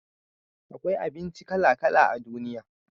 akwai abinci kala kala a duniya